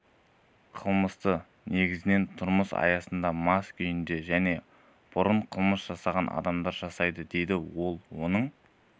қылмысты негізінен тұрмыс аясында мас күйінде және бұрын қылмыс жасаған адамдар жасайды деді ол оның